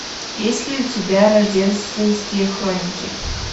есть ли у тебя рождественские хроники